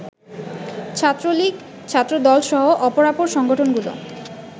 ছাত্রলীগ, ছাত্রদলসহ অপরাপর সংগঠনগুলো